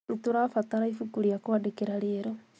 Nĩtũrabatara ibuku ria kwandĩkĩra rieru